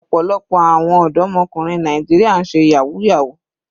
Ọ̀pọ̀lọpọ̀ àwọn ọ̀dọ́mọkùnrin Nàìjíríà ń ṣe yahoo yahoo.